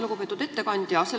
Lugupeetud ettekandja!